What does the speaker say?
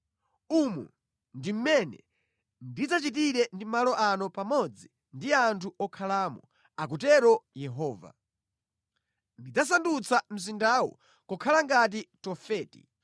Umu ndi mmene ndidzachitire ndi malo ano pamodzi ndi anthu okhalamo, akutero Yehova. Ndidzasandutsa mzindawu kukhala ngati Tofeti.